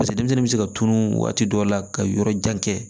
Paseke denmisɛnnin bɛ se ka tunun waati dɔ la ka yɔrɔ jan kɛ